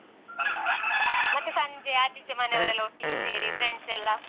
ಮತ್ತೆ ಸಂಜೆ ಆಚೀಚೆ ಮನೆಯವ್ರೆಲ್ಲ ಒಟ್ಟಿಗೆ ಸೇರಿ friends ಎಲ್ಲ.